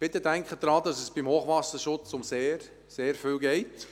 Bitte denken Sie daran, dass es beim Hochwasserschutz um sehr, sehr viel geht.